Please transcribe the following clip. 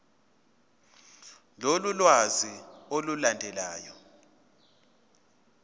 lolu lwazi olulandelayo